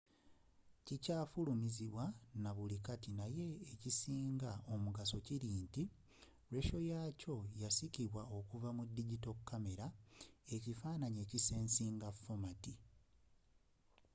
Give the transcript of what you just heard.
kikyafulumizibwa nabuli kati naye n'ekisinga omugaso kiri nti lekyoratio yakyo yasikirwa okuva mu digito kamera ekifaananyi ekisensinga fomati